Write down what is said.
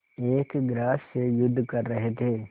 एक ग्रास से युद्ध कर रहे थे